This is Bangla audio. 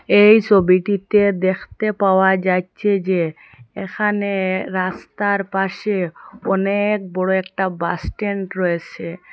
এই ছবিটিতে দেখতে পাওয়া যাইচ্ছে যে এখানে রাস্তার পাশে অনেক বড়ো একটা বাস স্ট্যান্ড রয়েছে।